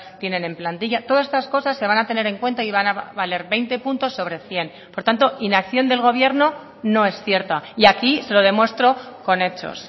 tienen en plantilla todas estas cosas se van a tener en cuenta y van a valer veinte puntos sobre cien por tanto inacción del gobierno no es cierta y aquí se lo demuestro con hechos